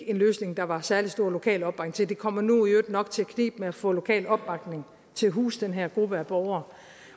en løsning der var særlig stor lokal opbakning til det kommer nu i øvrigt nok til at knibe med at få lokal opbakning til at huse den her gruppe af borgere